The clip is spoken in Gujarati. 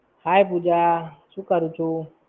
Hi પુજા. શું કરું છું